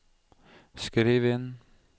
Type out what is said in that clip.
skriv inn